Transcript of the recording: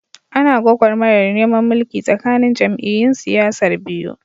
Ana gwagwarmayar neman mulki tsakanin jam'iyyun siyasar biyu.